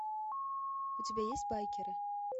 у тебя есть байкеры